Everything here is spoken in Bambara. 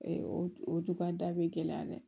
o o dukan da be gɛlɛya dɛ